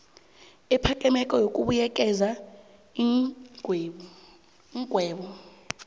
ephakemeko yokubuyekeza iingwebo